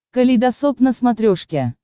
калейдосоп на смотрешке